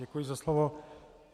Děkuji za slovo.